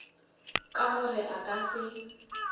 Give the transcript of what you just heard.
ka gore a ka se